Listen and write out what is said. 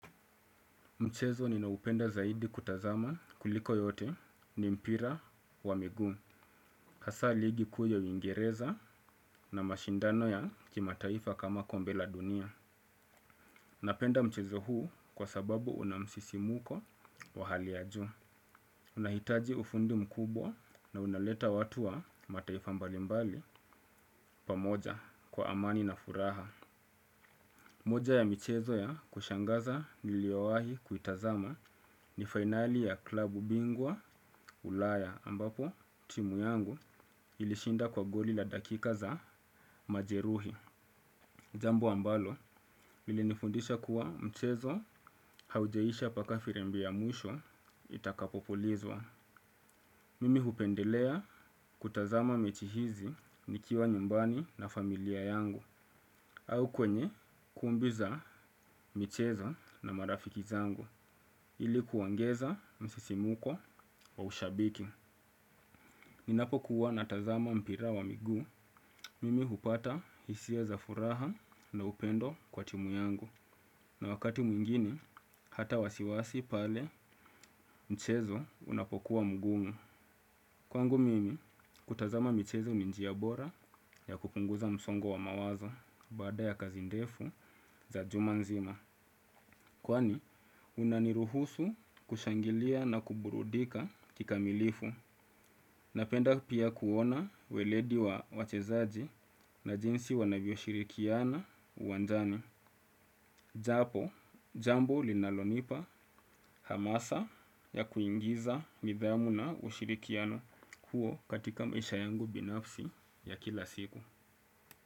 Mchezo nina upenda zaidi kutazama kuliko yote ni mpira wa miguu. Hasaa ligi kuu ya uingereza na mashindano ya kimataifa kama kombe la dunia. Napenda mchezo huu kwa sababu unamsisimuko wa hali ya juu. Unahitaji ufundi mkubwa na unaleta watu wa mataifa mbalimbali pamoja kwa amani na furaha. Moja ya michezo ya kushangaza niliowahi kuitazama ni finali ya klabu bingwa ulaya ambapo timu yangu ilishinda kwa goli la dakika za majeruhi. Jambo ambalo, lilinifundisha kuwa mchezo haujaisha mpaka firimbi ya mwisho itakapopulizwa. Mimi hupendelea kutazama mechi hizi nikiwa nyumbani na familia yangu au kwenye kumbi za michezo na marafiki zangu ilikuongeza msisimuko wa ushabiki. Ninapo kuwa na tazama mpira wa miguu. Mimi hupata hisia za furaha na upendo kwa timu yangu na wakati mwingine hata wasiwasi pale mchezo unapokuwa mgumu. Kwangu mimi, kutazama michezo ni njia bora ya kupunguza msongo wa mawazo baada ya kazi ndefu za juma nzima. Kwani, unaniruhusu kushangilia na kuburudika kika milifu. Napenda pia kuona weledi wa wachezaji na jinsi wanavyo shirikiana uwanjani. Japo, jambo linalonipa hamasa ya kuingiza nidhamu na ushirikiano kuu katika maisha yangu binafsi ya kila siku.